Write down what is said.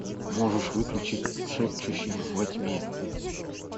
можешь выключить шепчущие во тьме